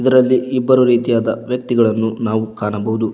ಇದರಲ್ಲಿ ಇಬ್ಬರು ರೀತಿಯಾದ ವ್ಯಕ್ತಿಗಳನ್ನು ನಾವು ಕಾಣಬಹುದು.